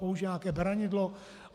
Použije nějaké beranidlo?